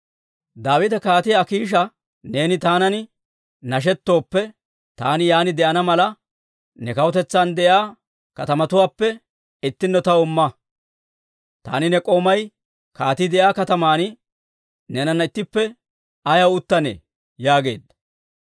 Daawite Kaatiyaa Akiisha, «Neeni taanan nashettooppe, taani yaan de'ana mala, ne kawutetsan de'iyaa katamatuwaappe ittinno taw imma. Taani ne k'oomay kaatii de'iyaa kataman neenana ittippe ayaw uttanee?» yaageedda.